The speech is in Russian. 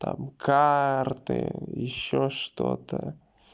там карты ещё что-то